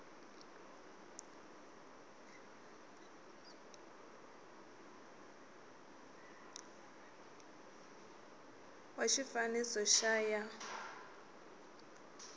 wa xifaniso xa c ya